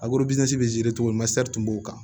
cogo min tun b'o kan